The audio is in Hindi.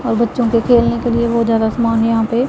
और बच्चों के खेलने के लिए बहोत ज्यादा सामान यहां पे--